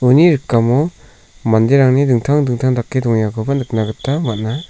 rikamo manderangni dingtang dingtang dake dongengakoba nikna gita man·a.